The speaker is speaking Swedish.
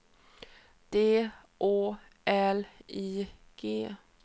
D Å L I G